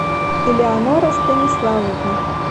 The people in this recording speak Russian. элеонора станиславовна